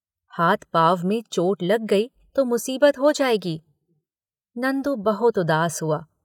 हाथ पांव में चोट लग गई तो मुसीबत हो जाएगी। नंदु बहुत उदास हुआ।